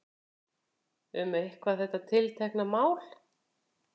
Um eitthvað þetta tiltekna mál.